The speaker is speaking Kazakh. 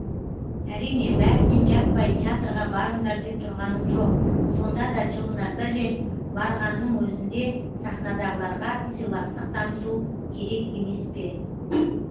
әрине бәріне жаппай театрға барыңдар деп тұрғаным жоқ сонда да жылына бір рет барғанның өзінде сахнадағыларға сыйластық таныту керек емес пе